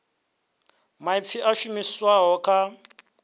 maipfi a a shumiseswa kha